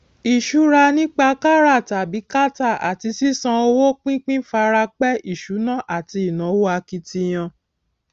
ìṣura nípa kárà tàbí kátà àti sísan owó pínpín fara pẹ ìṣúná ati ínáwó akitiyan